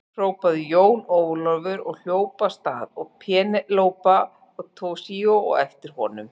Hrópaði Jón Ólafur og hljóp af stað og Penélope og Toshizo á eftir honum.